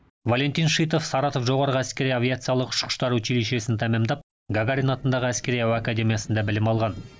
валентин шитов саратов жоғарғы әскери авиациялық ұшқыштар училищесін тәмамдап гагарин атындағы әскери әуе академиясында білім алған